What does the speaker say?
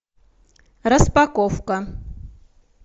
распаковка